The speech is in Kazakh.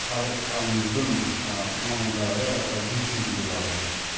қазақстанымыздың ы мамандары ы жұмыс істейтін болады